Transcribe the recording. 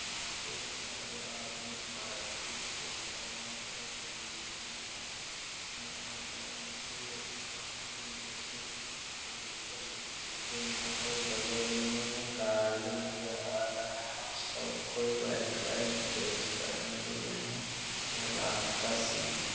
यहां पर सारे आदमी पड़ाके फोड़ रहे है यह फुलझरी है इसमें आग लगाने से यह फूल जैसे आग ऊपर से गिरते है और बगल में गाड़ियां नजर आ रहा है और सब कोई व्हाइट व्हाइट ड्रेस पहने हुए है यह रात का सीन है।